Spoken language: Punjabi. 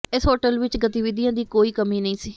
ਇਸ ਹੋਟਲ ਵਿੱਚ ਗਤੀਵਿਧੀਆਂ ਦੀ ਕੋਈ ਕਮੀ ਨਹੀਂ ਸੀ